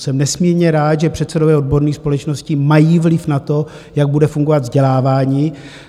Jsem nesmírně rád, že předsedové odborných společností mají vliv na to, jak bude fungovat vzdělávání.